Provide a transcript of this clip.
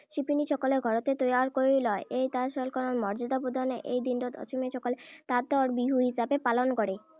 শিপীনীসকলে ঘৰতে তৈয়াৰ কৰি লয়। এই তাঁতশালখনক মৰ্যদা প্ৰদানৰেই এই দিনটোত অসমীয়াসকলে তাঁতৰ বিহু হিচাপে পালন কৰে।